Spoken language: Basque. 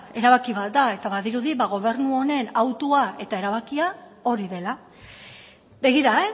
erabaki bat da eta badirudi gobernu honen autua eta erabakia hori dela begira